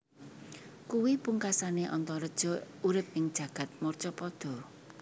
Kuwi pungkasané Antareja urip ing jagad marcapada